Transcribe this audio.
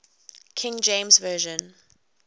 king james version